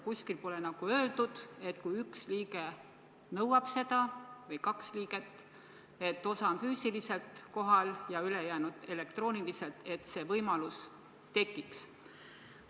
Kuskil pole öeldud, et kui üks liige nõuab või kaks liiget nõuavad füüsiliselt kohalolekut ja ülejäänud võivad osaleda elektrooniliselt, et siis see võimalus peab olema.